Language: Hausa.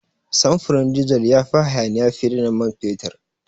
Samfurin dizal ya fi hayaniya fiye da na man fetur.